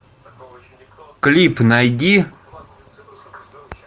клип найди